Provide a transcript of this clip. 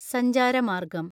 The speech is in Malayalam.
സഞ്ചാരമാര്‍ഗ്ഗം